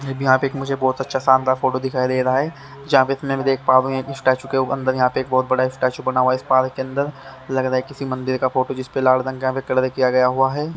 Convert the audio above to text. यहां पे एक मुझे बहुत अच्छा शानदार फोटो दिखाई दे रहा है यहां पे इतने में देख पा रहा हूं एक स्टैचू के अंदर यहां पे एक बहुत बड़ा स्टैचू बना हुआ है इस पार्क के अंदर लग रहा है किसी मंदिर का फोटो जिसपे लाल रंग का यहां पे कलर किया गया हुआ है।